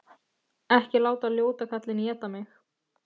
Ekki láta ljóta kallinn éta mig!